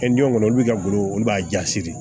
Kɛ kɔnɔ olu bɛ ka golo olu b'a ja siri